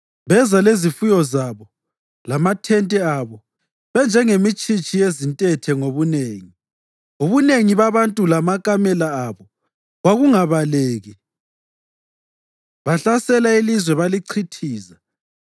Beza lezifuyo zabo lamathente abo benjengemitshitshi yezintethe ngobunengi. Ubunengi babantu lamakamela abo kwakungabaleki; bahlasela ilizwe balichithiza.